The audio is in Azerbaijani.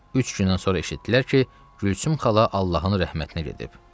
Üç gündən sonra eşitdilər ki, Gülsüm xala Allahın rəhmətinə gedib.